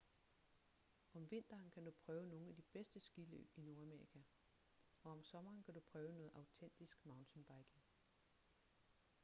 om vinteren kan du prøve nogle af de bedste skiløb i nordamerika og om sommeren kan du prøve noget autentisk mountainbiking